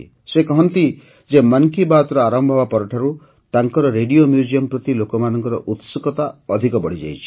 ସେ କହନ୍ତି ଯେ ମନ୍ କି ବାତ୍ ଆରମ୍ଭ ହେବା ପରଠାରୁ ତାଙ୍କର ରେଡ଼ିଓ ମ୍ୟୁଜିୟମ୍ ପ୍ରତି ଲୋକମାନଙ୍କର ଉତ୍ସୁକତା ଅଧିକ ବଢ଼ିଯାଇଛି